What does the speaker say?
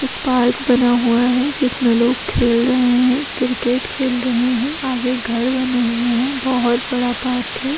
एक पार्क बना हुआ है जिसमें लोग खेल रहे हैं क्रिकेट खेल रहे हैं आगे घर बने हुए हैं बहुत बड़ा पार्क है।